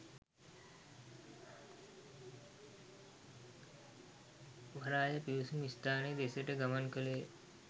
වරාය පිවිසුම් ස්ථානය දෙසට ගමන් කළේය